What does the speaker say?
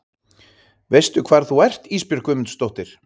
Veistu hvar þú ert Ísbjörg Guðmundsdóttir?